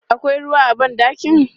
Akwai ruwa a ban ɗakin?